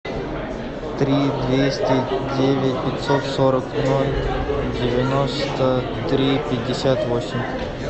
три двести девять пятьсот сорок ноль девяносто три пятьдесят восемь